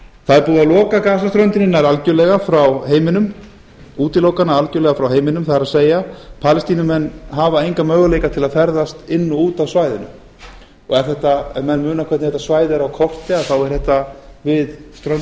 það er búið að loka gasaströndinni nær algjörlega frá heiminum útiloka hana algjörlega frá heiminum það er palestínumenn hafa enga möguleika til að ferðast inn og út af svæðinu ef menn muna hvernig þetta svæði er á korti þá er þetta er við ströndina fyrir